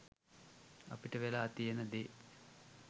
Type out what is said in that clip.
අපිට වෙලා තියෙන දේ